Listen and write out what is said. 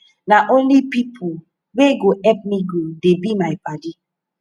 na only pipu wey go help me grow dey be my paddy